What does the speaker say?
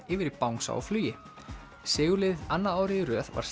yfir í bangsa á flugi sigurliðið annað árið í röð var